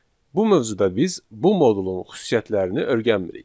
Bu mövzuda biz bu modulun xüsusiyyətlərini öyrənmirik.